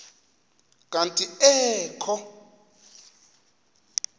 kanti ee kho